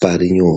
parinyore..